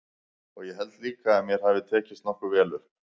Og ég held líka að mér hafi tekist nokkuð vel upp.